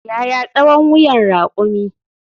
Yaya tsawon wuyan rakumi?